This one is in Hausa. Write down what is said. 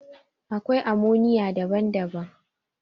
Akwai ammonium daban-daban.